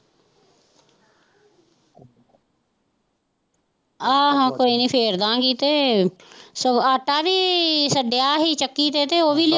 ਆਹ ਕੋਈ ਨੀ ਫੇਰਦਾ ਗੀ ਤੇ ਸਗੋਂ ਆਟਾ ਵੀ ਛੱਡਿਆ ਹੀ ਚੱਕੀ ਤੇ ਓਵੀਂ।